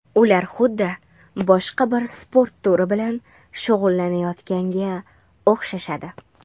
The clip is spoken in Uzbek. Ular xuddi boshqa bir sport turi bilan shug‘ullanayotganga o‘xshashadi.